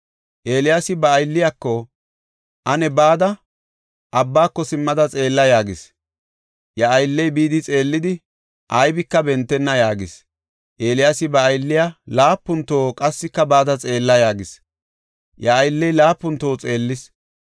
Eeliyaasi ba aylliyako, “Ane bada, abbaako simmada xeella” yaagis. Iya aylley bidi xeellidi, “Aybika bentenna” yaagis. Eeliyaasi ba aylliya laapun toho, “Qassika bada xeella” yaagis. Iya aylley laapun toho xeellis.